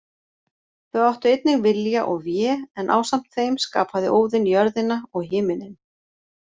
Þau áttu einnig Vilja og Vé en ásamt þeim skapaði Óðinn jörðina og himininn.